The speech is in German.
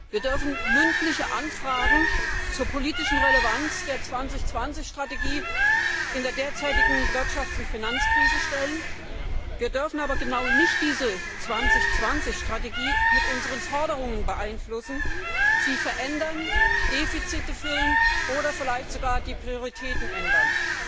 Wir dürfen mündliche Anfragen zur politischen Relevanz der Strategie EU 2020 in der derzeitigen Wirtschafts und Finanzkrise stellen, wir dürfen aber diese Strategie EU 2020 gerade nicht mit unseren Forderungen beeinflussen, sie verändern, Defizite füllen oder vielleicht sogar die Prioritäten ändern.